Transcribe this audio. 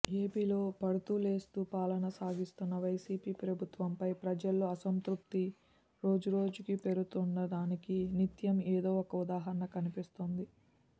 ఏపీలో పడుతూలేస్తూ పాలన సాగిస్తున్న వైసీపీ ప్రభుత్వంపై ప్రజల్లో అసంతృప్తి రోజురోజుకూ పెరుగుతుందనడానికి నిత్యం ఏదో ఒక ఉదాహరణ కనిపిస్తోంది